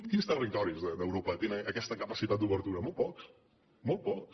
quins territoris d’europa tenen aquesta capacitat d’obertura molt pocs molt pocs